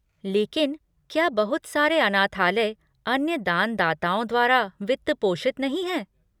लेकिन क्या बहुत सारे अनाथालय अन्य दानदाताओं द्वारा वित्त पोषित नहीं हैं?